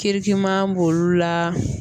Kirikiman b'olu la